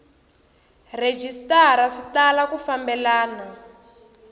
rhejisitara swi tala ku fambelana